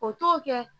O t'o kɛ